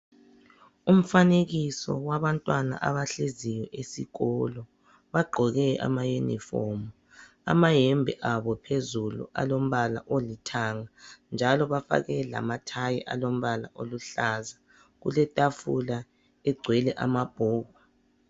umfanekiso wabantwana abahleziyo esikolo bagqoke ama yunifomu amayembe abo phezulu alombala olithanga njalobafake lama thayi alombala oluhlaza kule tafula egcwele ama bhuku